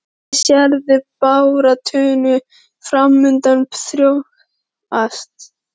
Hvernig sérðu baráttuna framundan þróast?